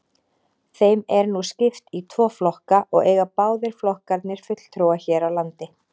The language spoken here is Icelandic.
Þeim er nú skipt í tvo flokka og eiga báðir flokkarnir fulltrúa hér á landi.